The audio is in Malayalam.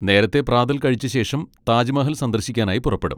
നേരത്തെ പ്രാതൽ കഴിച്ച ശേഷം താജ് മഹൽ സന്ദർശിക്കാനായി പുറപ്പെടും.